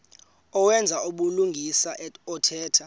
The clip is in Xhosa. owenza ubulungisa othetha